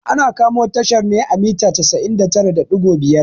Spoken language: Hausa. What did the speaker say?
Ana kamo tashar ne a mita casa'in da tara da ɗigo biyar